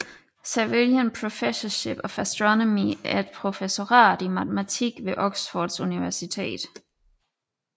Savilian Professorship of Astronomy er et professorat i matematik ved Oxfords Universitet